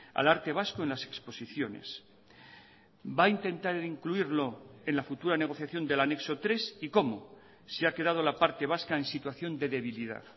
al arte vasco en las exposiciones va a intentar incluirlo en la futura negociación del anexo tres y cómo si ha quedado la parte vasca en situación de debilidad